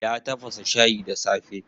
Ya tafasa shayi da safe.